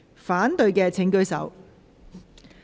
反對的請舉手。